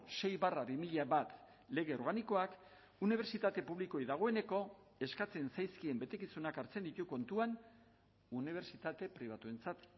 sei barra bi mila bat lege organikoak unibertsitate publikoei dagoeneko eskatzen zaizkien betekizunak hartzen ditu kontuan unibertsitate pribatuentzat